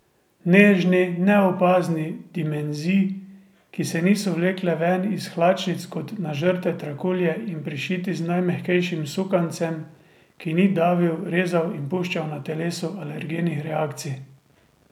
Nežni, neopazni, dimenzij, ki se niso vlekle ven iz hlačnic kot nažrte trakulje in prišiti z najmehkejšim sukancem, ki ni davil, rezal in puščal na telesu alergenih reakcij.